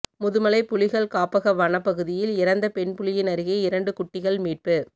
முதுமலை புலிகள் காப்பக வனப்பகுதியில் இறந்த பெண் புலியின் அருகே இரண்டு குட்டிகள் மீட்பு